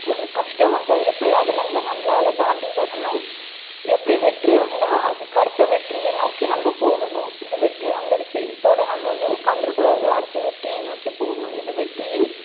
ஒரு கஷ்டம் வந்தா எப்படி அதுல இருந்து நம்மலால தாண்டி வரணும் எப்படி வெற்றி வந்தா அதுக்கு அடுத்த வெற்றியை நோக்கி நம்ம போகணும் இந்த வெற்றி வந்துடுச்சு இத்தோட நம்ம வந்து உட்கார்ந்திட கூடாது அடுத்த வெற்றியை நோக்கி போகணும் இது வெற்றியின்